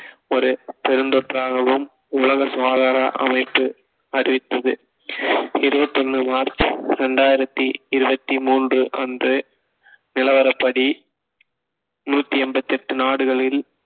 ஒரு பெருந்தொற்றாகவும் உலக சுகாதார அமைப்பு அறிவித்தது இருபத்தி ஒண்ணு மார்ச் இரண்டாயிரத்தி இருபத்தி மூன்று அன்று நிலவரப்படி நூத்தி எண்பத்தி எட்டு நாடுகளில்